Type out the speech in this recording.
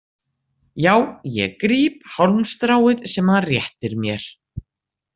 Já, ég gríp hálmstráið sem hann réttir mér.